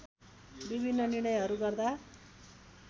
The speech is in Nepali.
विभिन्न निर्णयहरू गर्दा